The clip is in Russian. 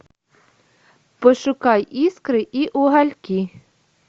пошукай искры и угольки